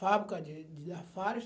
Fábrica de de Lafarge.